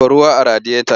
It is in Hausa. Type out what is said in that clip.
Zuba ruwa a radiyota ɗin!